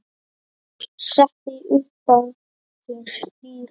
setti upp á sér stýri